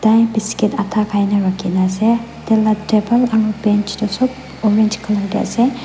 Tai biscuit adha khaina rakhina ase taila table aro bench tuh sob orange colour dae ase.